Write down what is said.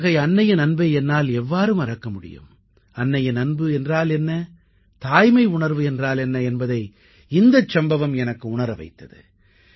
அத்தகைய அன்னையின் அன்பை என்னால் எவ்வாறு மறக்க முடியும் அன்னையின் அன்பு என்றால் என்ன தாய்மை உணர்வு என்றால் என்ன என்பதை இந்தச் சம்பவம் எனக்கு உணர வைத்தது